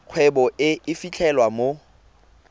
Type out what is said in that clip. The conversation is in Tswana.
kgwebo e e fitlhelwang mo